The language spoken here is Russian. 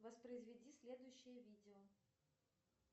воспроизведи следующее видео